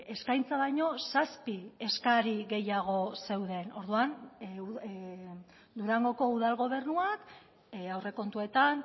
eskaintza baino zazpi eskari gehiago zeuden orduan durangoko udal gobernuak aurrekontuetan